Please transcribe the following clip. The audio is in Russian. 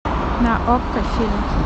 на окко фильм